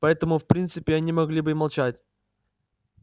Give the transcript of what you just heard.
поэтому в принципе они могли бы и молчать